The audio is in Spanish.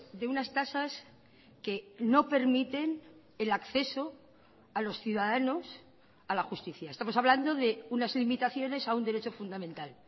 de unas tasas que no permiten el acceso a los ciudadanos a la justicia estamos hablando de unas limitaciones a un derecho fundamental